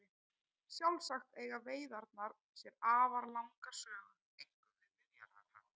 Sjálfsagt eiga veiðarnar sér afar langa sögu einkum við Miðjarðarhaf.